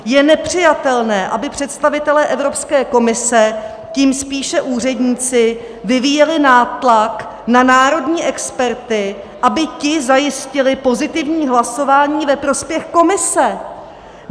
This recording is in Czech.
Je nepřijatelné, aby představitelé Evropské komise, tím spíše úředníci, vyvíjeli nátlak na národní experty, aby ti zajistili pozitivní hlasování ve prospěch Komise.